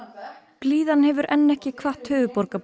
blíðan hefur enn ekki kvatt höfuðborgarbúa